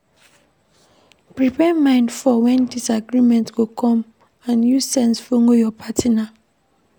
Prepare mind for when disagreement go come and use sense follow your partner